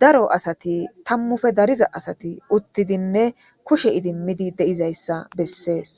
daro asati tammufe dariza asati uttidinne kushe idimmidi deizayssa bessees.